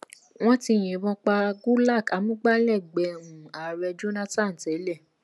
wọ́n ti yìnbọn pa gulak amúgbálẹ́gbẹ̀ẹ́ um ààrẹ jonathan tẹ́lẹ̀